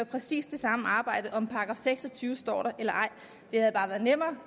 præcis det samme arbejde om § seks og tyve står der eller ej det havde bare været nemmere